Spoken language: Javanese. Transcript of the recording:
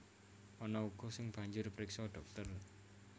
Ana uga sing banjur priksa dhokter